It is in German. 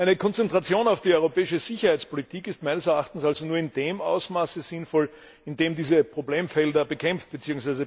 Eine Konzentration auf die europäische Sicherheitspolitik ist meines Erachtens also nur in dem Ausmaß sinnvoll, in dem diese Problemfelder bekämpft bzw.